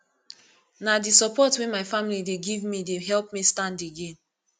na di support wey my family dey give me dey help me stand again